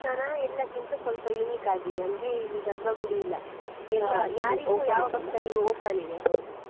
ಈ ದೇವಸ್ತಾನ ಎಲ್ಲಕ್ಕಿಂತ ಸ್ವಲ್ಪ unique ಆಗಿದೆ ಅಂದ್ರೆ ಇಲ್ಲಿ ಗರ್ಭಗುಡಿ ಇಲ್ಲ .